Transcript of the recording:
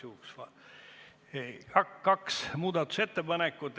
Kaks muudatusettepanekut.